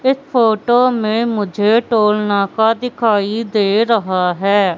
इस फोटो में मुझे टोल नाका दिखाई दे रहा है।